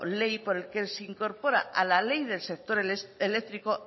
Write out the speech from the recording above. ley por el que se incorpora a la ley del sector eléctrico